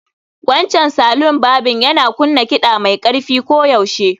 Wancan salon barbing yana kunna kiɗa mai ƙarfi koyaushe